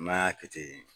N'an y'a kɛ ten